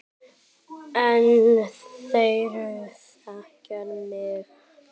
En þeir þekkja mig.